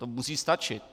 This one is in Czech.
To musí stačit.